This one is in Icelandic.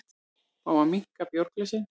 Fá að minnka bjórglösin